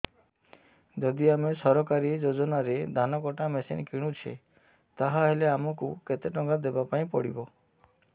ଯଦି ଆମେ ସରକାରୀ ଯୋଜନାରେ ଧାନ କଟା ମେସିନ୍ କିଣୁଛେ ତାହାଲେ ଆମକୁ କେତେ ଟଙ୍କା ଦବାପାଇଁ ପଡିବ